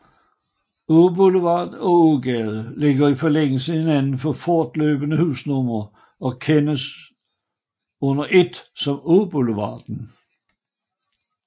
Åboulevard og Ågade ligger i forlængelse af hinanden med fortløbende husnumre og kendes under et som Åboulevarden